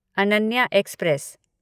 Ananya express